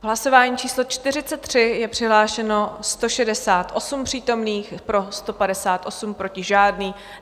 V hlasování číslo 43 je přihlášeno 168 přítomných, pro 158, proti žádný.